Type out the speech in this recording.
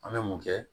An bɛ mun kɛ